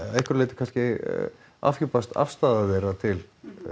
einhverju leyti kannski afhjúpast afstaða þeirra til